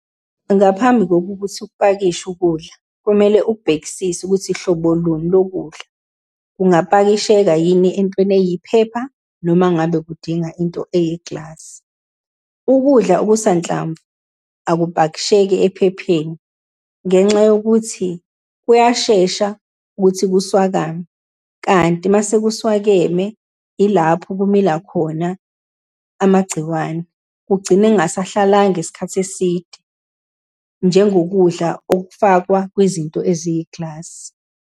Ngaphambi kokuthi ukupakishe ukudla, kumele ubhekisise ukuthi hlobo luni lokudla, kungapakisheka yini entweni eyiphepha, noma ngabe kudinga into eyi-glass. Ukudla okusahlamvu akuphakisheki ephepheni, ngenxa yokuthi kuyashesha ukuthi kuswakame. Kanti uma sekuswakeme, ilapho kumila khona amagciwane, kugcine kungasahlala isikhathi eside, njengokudla okufakwa kwizinto eziyi-glass.